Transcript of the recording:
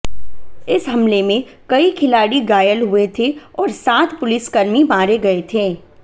इस हमले में कई खिलाड़ी घायल हुए थे और सात पुलिसकर्मी मारे गए थे